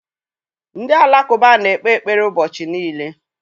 Ndị Alakụba na-ekpe ekpere ụbọchị niile.